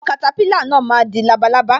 Àwọn katapila náà má di labalábá